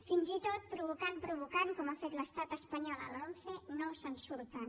fins i tot provocant provocant com ha fet l’estat espanyol a la lomce no se’n surten